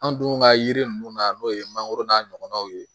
An dun ka yiri nunnu na n'o ye mangoro n'a ɲɔgɔnnaw ye